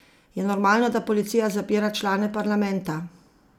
Je normalno, da policija zapira člane parlamenta?